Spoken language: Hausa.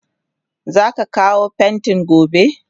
Zaka kawo pentin gobe?